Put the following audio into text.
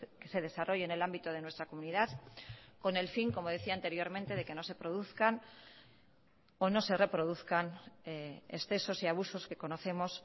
que se desarrolle en el ámbito de nuestra comunidad con el fin como decía anteriormente de que no se produzcan o no se reproduzcan excesos y abusos que conocemos